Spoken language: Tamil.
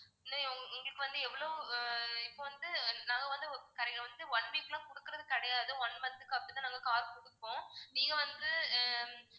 உங்களுக்கு வந்து எவ்வளவு ஆஹ் இப்போ வந்து நாங்க வந்து ஒரு one week லாம் கொடுக்குறது கிடையாது one month க்கு அப்படிதான் நாங்க car கொடுப்போம் நீங்க வந்து ஆஹ்